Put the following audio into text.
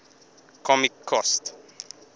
comic cost